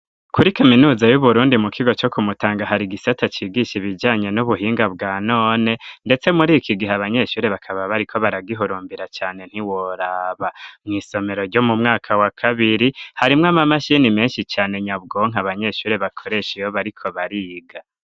Kuri kaminuza y'uburundi mukigo co kumutanga, hari igisata cigisha ibijanye nubuhinga bwanone ndetse muriki gihe abanyeshure bakaba bariko baragihurumbira cane ntiworaba, mwisomero ryo mu mwaka wa kabiri harimwo ama mashini menshi cane nyabwonko abanyeshure bakoresha iyo bariko bariga.